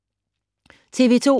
TV 2